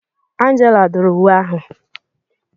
Angela dụrụ uwe ahụ.